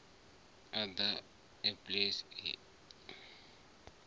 othe a phanele a a